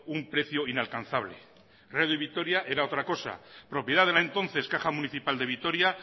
un precio inalcanzable radio vitoria era otra cosa propiedad de la entonces caja municipal de vitoria